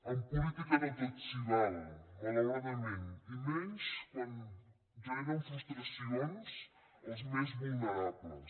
en política no tot s’hi val malauradament i menys quan generen frustracions als més vulnerables